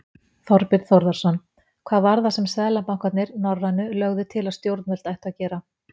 Þorbjörn Þórðarson: Hvað var það sem seðlabankarnir, norrænu, lögðu til að stjórnvöld ættu að gera?